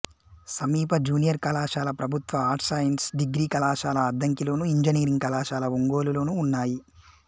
సమీప జూనియర్ కళాశాల ప్రభుత్వ ఆర్ట్స్సైన్స్ డిగ్రీ కళాశాల అద్దంకిలోను ఇంజనీరింగ్ కళాశాల ఒంగోలులోనూ ఉన్నాయి